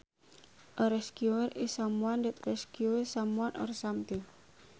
A rescuer is someone that rescues someone or something